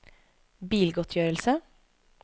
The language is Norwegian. bilgodtgjørelse